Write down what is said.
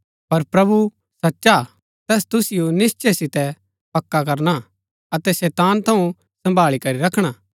पर प्रभु सचा हा तैस तुसिओ निश्‍चय सितै पक्का करना अतै शैतान थऊँ सम्भाळी करी रखणा